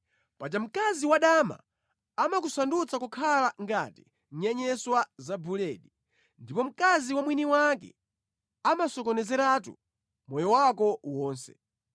paja mkazi wadama amakusandutsa kukhala ngati nyenyeswa za buledi ndipo mkazi wa mwini wake amasokonezeratu moyo wako wonse.